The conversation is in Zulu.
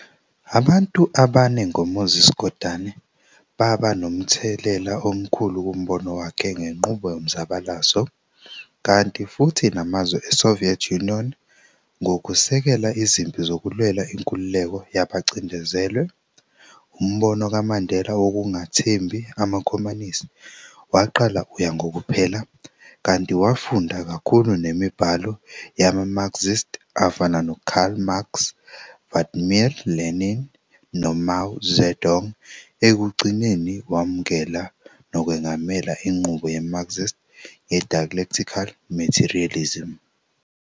Abantu abanengoMoses Kotane baba nomthelela omkhulu kumbono wakhe ngenqubo yomzabalazo, kanti futhi namazwe e-Soviet Union ngokusekela izimpi zokulwela inkululeko yabacindezelwe, umbono kaMandela wokungathembi amakhomanisi, waqala uya ngokuphela, kanti wafunda kakhulu nemibhalo yama-Marxists afana no-Karl Marx, Vladimir Lenin, noMao Zedong, ekugcineni wamukela nokwengamela inqubo ye-Marxist ye-dialectical materialism.